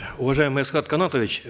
уважаемый асхат канатович